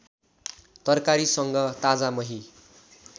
तरकारीसँग ताजा मही